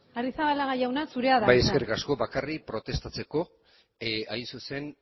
bai eskerrik asko bakarrik protestatzeko hain zuzen